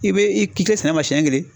I bɛ i k'i kilen sɛnɛma siyɛn kelen!